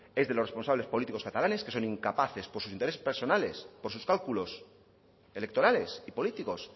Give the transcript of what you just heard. es de los responsables políticos catalanes que son incapaces por sus intereses personales por sus cálculos electorales y políticos